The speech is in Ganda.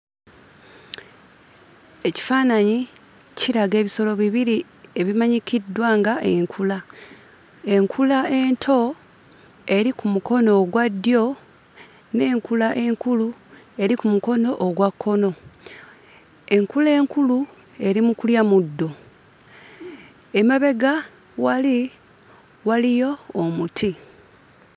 Ekifaananyi kiraga ebisolo bibiri ebimanyikiddwa nga Enkula. Enkula ento eri ku mukono ogwa ddyo, n'enkula enkulu eri ku mukono ogwa kkono. Enkula enkulu eri mu kulya muddo. Emabega wali, waliyo omuti.